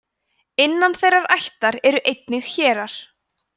innan þeirrar ættar eru einnig hérar